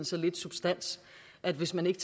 så lidt substans at hvis man ikke